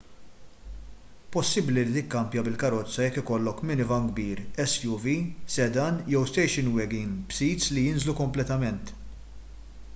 possibbli li tikkampja bil-karozza jekk ikollok minivan kbir suv sedan jew station wagon b'sits li jinżlu kompletament